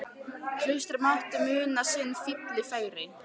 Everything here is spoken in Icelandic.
Klaustrið mátti muna sinn fífil fegri.